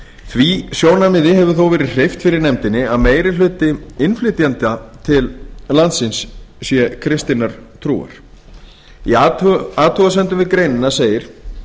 því sjónarmiði hefur þó verið hreyft fyrir nefndinni að meiri hluti innflytjenda til landsins er kristinnar trúar í athugasemdum við greinina segir